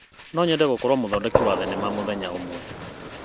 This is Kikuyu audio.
No nyende gũkorwo mũthondeki wa thenema mũthenya ũmwe.